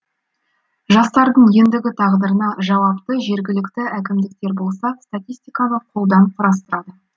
жастардың ендігі тағдырына жауапты жергілікті әкімдіктер болса статистиканы қолдан құрастырады